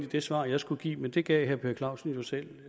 det svar jeg skulle give men det gav herre per clausen jo selv